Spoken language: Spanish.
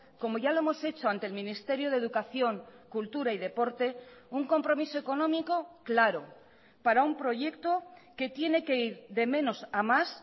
como ya lo hemos hecho ante el ministerio de educación cultura y deporte un compromiso económico claro para un proyecto que tiene que ir de menos a más